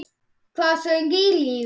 Hvað söng í Sif?